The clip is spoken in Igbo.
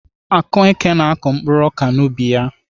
Akueke na-akọ mkpuru ọka n'ubi ya.